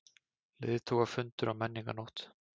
Leiðtogafundur á Menningarnótt